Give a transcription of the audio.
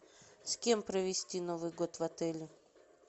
с кем провести новый год в отеле